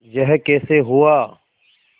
यह कैसे हुआ